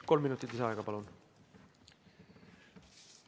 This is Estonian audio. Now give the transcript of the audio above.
Kolm minutit lisaaega, palun!